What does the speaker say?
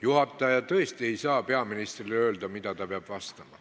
Juhataja tõesti ei saa peaministrile öelda, mida ta peab vastama.